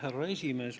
Härra esimees!